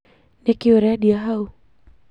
Nĩ kĩĩ ũrendia hau